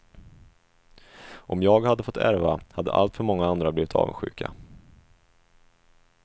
Om jag hade fått ärva hade alltför många andra blivit avundsjuka.